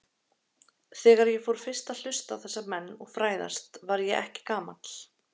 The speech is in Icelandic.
Þegar ég fór fyrst að hlusta á þessa menn og fræðast var ég ekki gamall.